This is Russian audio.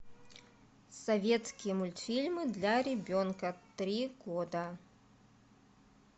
советские мультфильмы для ребенка три года